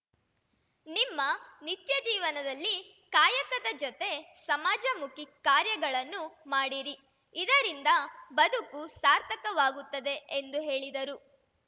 ನಿಮ್ಮ ನಿತ್ಯಜೀವನದಲ್ಲಿ ಕಾಯಕದ ಜೊತೆ ಸಮಾಜಮುಖಿ ಕಾರ್ಯಗಳನ್ನು ಮಾಡಿರಿ ಇದರಿಂದ ಬದುಕು ಸಾರ್ಥಕವಾಗುತ್ತದೆ ಎಂದು ಹೇಳಿದರು